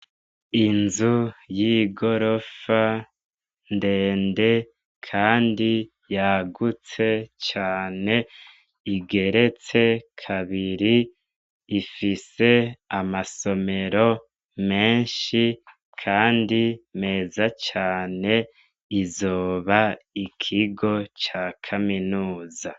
Inzu yigorofa ndende, kandi yagutse cane igeretse kabiri ifise amasomero meshi kandi meza cane izoba, Ikigo ca Kaminuza.